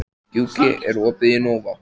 Gjúki, er opið í Nova?